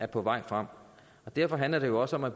på vej frem derfor handler det jo også om at